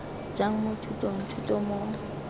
jang mo thutong thuto mo